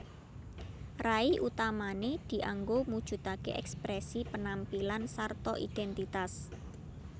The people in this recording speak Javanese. Rai utamané dianggo mujudaké èksprèsi penampilan sarta idhèntitas